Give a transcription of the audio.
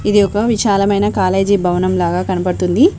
ఇది ఒక విశాలమైన కాలేజీ భవనం లాగా కనబడుతుంది.